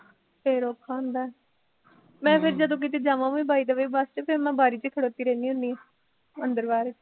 ਫੇਰ ਔਖਾ ਹੁੰਦਾ ਐ ਮੈਂ ਫਿਰ ਜਦੋਂ ਕਿਤੇ ਜਾਵਾ ਵੀ ਵਾਇਦੇ ਵੇ ਬਸ ਚ ਫਿਰ ਮੈਂ ਬਾਰੀ ਚ ਖੜੋਤੀ ਰਹਿੰਦੀ ਹੁੰਦੀ ਆ ਅੰਦਰ ਬਾਹਰ